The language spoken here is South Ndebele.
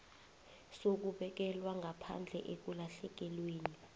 sokubekelwa ngaphandle ekulahlekelweni